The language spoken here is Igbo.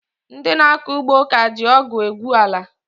Ndị na akọ ugbo ka ji ọgụ egwu ala